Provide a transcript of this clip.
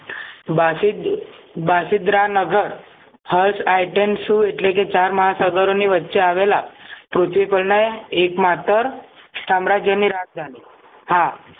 બાસુંદ બાસુંદરા નગર Harsha Itensu એટલેકે ચાર મહાસાગરો ની વચ્ચે આવેલા ત્રુટિ પ્રણય એકમાત્ર સામ્રાજ્યની રાજ ઘાની હા